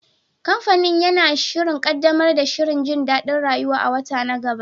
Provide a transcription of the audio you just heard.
Kamfanin yana shirin ƙaddamar da shirin jin daɗin rayuwa a wata na gaba.